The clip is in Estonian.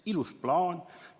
" Ilus plaan.